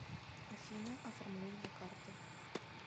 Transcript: афина оформление карты